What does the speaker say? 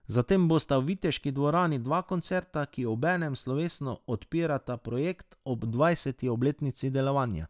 Zatem bosta v Viteški dvorani dva koncerta, ki obenem slovesno odpirata njen projekt ob dvajseti obletnico delovanja.